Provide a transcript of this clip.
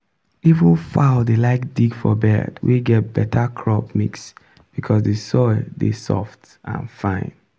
even fowl dey like dig for bed wey get better crop mix because the soil dey soft and fine.